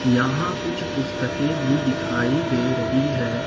यहां कुछ पुस्तके भी दिखाई दे रही है।